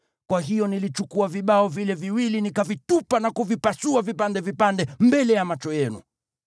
Kwa hiyo nilichukua vibao vile viwili nikavitupa na kuvipasua vipande vipande mbele ya macho yenu.